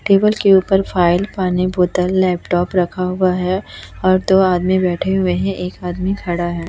Table के ऊपर file पानी बोतल लैपटॉप रखा हुआ है और दो आदमी बैठे हुए हैं एक आदमी खड़ा है।